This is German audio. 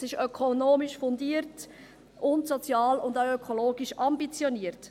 Es ist ökonomisch fundiert sowie sozial und ökologisch ambitioniert.